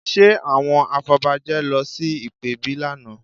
Ṣe àwọn afọbajẹ lọ sí ìpèbí lánàá?